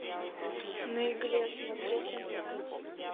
на игле смотреть онлайн